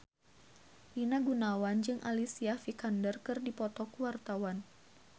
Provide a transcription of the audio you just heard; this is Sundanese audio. Rina Gunawan jeung Alicia Vikander keur dipoto ku wartawan